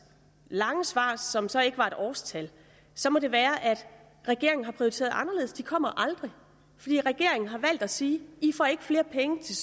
lange svar som så ikke var et årstal så må det være at regeringen har prioriteret anderledes de kommer aldrig for regeringen har valgt at sige i får ikke flere penge til